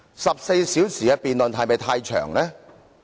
14小時的辯論是否過長？